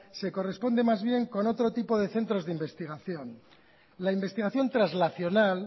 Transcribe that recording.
se corresponde más bien con otro tipo de centros de investigación la investigación traslacional